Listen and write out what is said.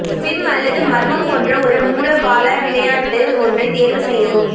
sim அல்லது மர்மம் போன்ற ஒரு மூலோபாய விளையாட்டு ஒன்றைத் தேர்வுசெய்யவும்